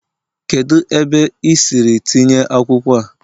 kedu ebe i siri tinye akwukwo a?